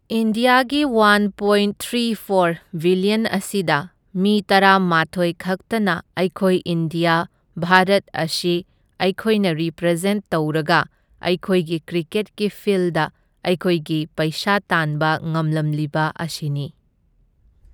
ꯏꯟꯗ꯭ꯌꯥꯒꯤ one point three four billion ꯑꯁꯤꯗ ꯃꯤ ꯇꯔꯥ ꯃꯥꯊꯣꯏ ꯈꯛꯇꯅ ꯑꯩꯈꯣꯏ ꯏꯟꯗ꯭ꯌꯥ ꯚꯥꯔꯠ ꯑꯁꯤ ꯑꯩꯈꯣꯏꯅ ꯔꯦꯄ꯭ꯔꯖꯦꯟ ꯇꯧꯔꯒ ꯑꯩꯈꯣꯏꯒꯤ ꯀ꯭ꯔꯤꯀꯦꯠꯒꯤ ꯐꯤꯜꯗ ꯑꯩꯈꯣꯏꯒꯤ ꯄꯩꯁꯥ ꯇꯥꯟꯕ ꯉꯝꯂꯝꯂꯤꯕ ꯑꯁꯤ꯫